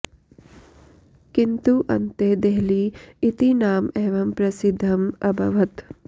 किन्तु अन्ते देहली इति नाम एव प्रसिद्धम् अभवत्